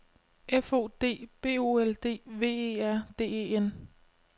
F O D B O L D V E R D E N